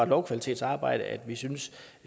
lovkvalitetsarbejdet at vi synes